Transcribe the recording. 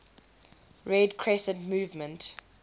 red crescent movement